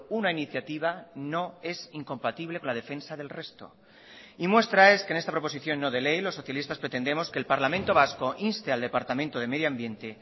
una iniciativa no es incompatible con la defensa del resto y muestra es que en esta proposición no de ley los socialistas pretendemos que el parlamento vasco inste al departamento de medioambiente